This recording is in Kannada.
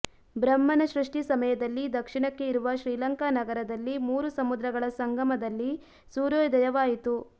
ಬ್ರಹ್ಮನ ಸೃಷ್ಟಿ ಸಮಯದಲ್ಲಿ ದಕ್ಷಿಣಕ್ಕೆ ಇರುವ ಶ್ರೀಲಂಕಾ ನಗರದಲ್ಲಿ ಮೂರು ಸಮುದ್ರಗಳ ಸಂಗಮ ದಲ್ಲಿ ಸೂರ್ಯೋದಯವಾಯಿತು